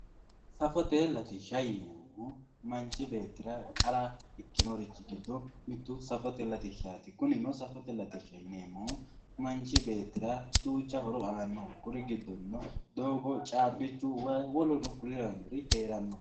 safote latishsha yineemmohu manchi beettira qara ikinorichi giddo mittu safote latishshaati kunino safote latishsha yineemmohu manchi beettira duucha horo aannoho doogo, caabbichu, wayi woleno konne lawannori heeranno.